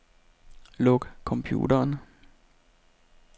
Luk computeren.